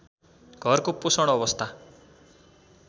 घरको पोषण अवस्था